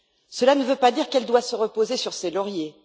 Cela ne veut pas dire qu'elle doit se reposer sur ses lauriers.